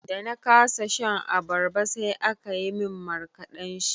Da na kasa shan abarba sai aka yi min markaɗan shi.